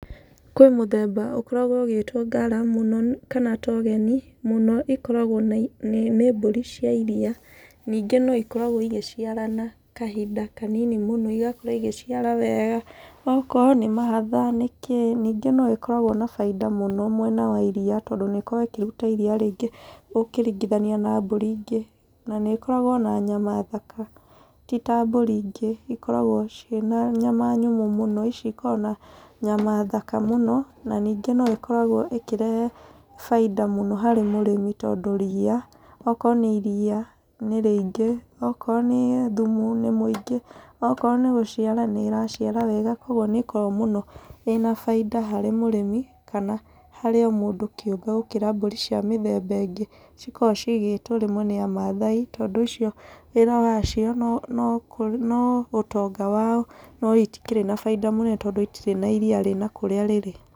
Kwĩ mũthemba ũkoragwo ũgĩtwo Ngara mũno, kana Togeni. Mũno ikoragwo nĩ mbũri cia iria. Ningĩ no ikoragwo igĩciarana kahinda kanini mũno. Igakorwo igĩciara wega, okorwo ni mahatha, nĩ kĩ. Ningĩ no ĩkoragwo na baida mũno mwena wa iria tondũ nĩĩkoragwo ĩkĩruta iria rĩingĩ ũkĩringithania na mbũri ingĩ. Na nĩĩkoragwo ona nyama thaka ti ta mbũri ingĩ ikoragwo ciĩ na nyama nyũmũ mũno. Ici ikoragwo na nyama thaka mũno na ningĩ no ĩkoragwo ĩkĩrehe bainda mũno harĩ mũrĩmi tondũ ria, okorwo nĩ iria nĩ rĩingĩ. Okorwo nĩ thumu nĩ mũingĩ. Okorwo nĩ gũciara nĩ ĩraciara wega. Kogwo nĩ ĩkoragwo mũno ĩna baida harĩ mũrĩmi, kana harĩ o mũndũ kĩũmbe gũkĩra mbũri cia mĩthemba ĩngĩ. Cikoragwo ciigĩtwo rĩmwe nĩ Amathai tondũ icio wĩra wacio no ũtonga wao no itikĩrĩ na bainda mũnene tondũ itikĩrĩ na iria rĩ na kũrĩa rĩrĩ.